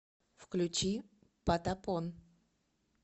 включи патапон